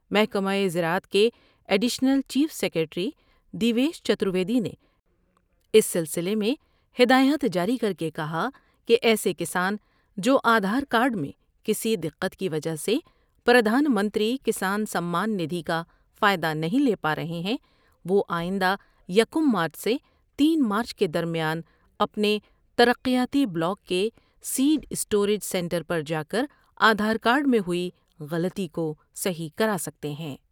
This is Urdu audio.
محکمہ زراعت کے additional chief secretary Devesh Chaturvedi نے اس سلسلے میں ہدایات جاری کر کے کہا کہ ایسے کسان جوآ دھار کارڈ میں کسی دقت کی وجہ سے پردھان منتری کسان سمان ندھی کا کا فائدہ نہیں لے پارہے ہیں ، وہ آئندہ یکم مارچ سے تین مارچ کے درمیان اپنے ترقیاتی بلاک کے سیڈ اسٹوریج سینٹر پر جا کر آدھار کارڈ میں ہوئی غلطی کو صیح کرا سکتے ہیں ۔